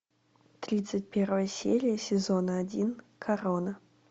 тридцать первая серия сезона один корона